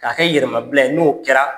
K'a kɛ yɛrɛmabila ye, n'o kɛra